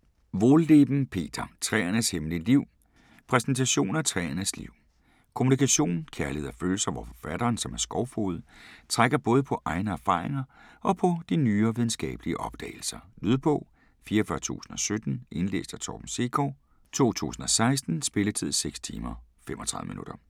Wohlleben, Peter: Træernes hemmelige liv Præsentation af træernes liv, kommunikation, kærlighed og følelser, hvor forfatteren, som er skovfoged, trækker både på egne erfaringer og på de nyere videnskabelige opdagelser. Lydbog 44017 Indlæst af Torben Sekov, 2016. Spilletid: 6 timer, 35 minutter.